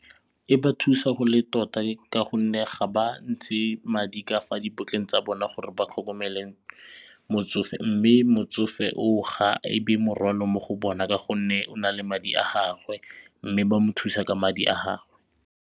E ba thusa go le tota ka gonne ga ba ntshe madi ka fa dipotleng tsa bona gore ba tlhokomele motsofe mme motsofe o o ga e be morwalo mo go bona ka gonne o na le madi a gagwe mme ba mo thusa ka madi a gagwe.